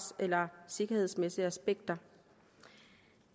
eller sikkerhedsmæssige aspekter